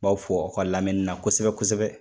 B'aw fo a' ka lamɛnni na kosɛbɛ kosɛbɛ.